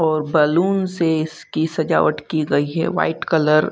और बैलून से इसकी सजावट की गई है व्हाइट कलर --